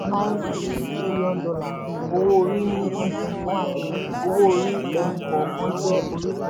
usa gba $4.9tn owó orí ní twenty twenty-one owó orí ẹni kọ̀ọ̀kan jẹ́ orísun.